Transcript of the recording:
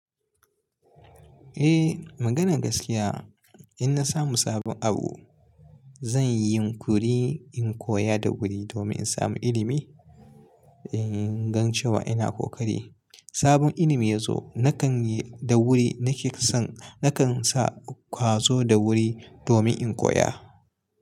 Eh maganar gaskiya in na samu sabon abu zan yi yin kuri in koya da wuri domin in samu ilimi. In gan cewa ina kokari, sabon ilimi ya zo nakan yi da wuri nake fi son nakan sa ƙwazo da wuri domin in koya.